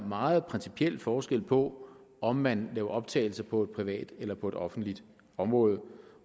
meget principiel forskel på om man laver optagelser på et privat eller på et offentligt område